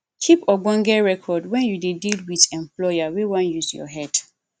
keep ogbonge record when you dey deal with employer wey wan use your head